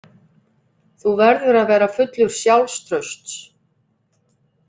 Þú verður að vera fullur sjálfstrausts.